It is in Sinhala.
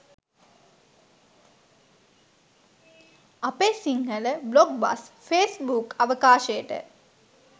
අපේ සිංහල බ්ලොග් බස් ෆේස්බුක් අවකාශයට